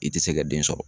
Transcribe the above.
I tɛ se ka den sɔrɔ